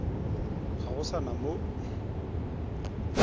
ga go sa na mo